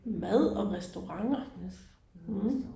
Mad og restauranter hm